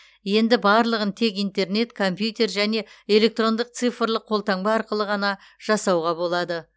енді барлығын тек интернет компьютер және электрондық цифрлық қолтаңба арқылы ғана жасауға болады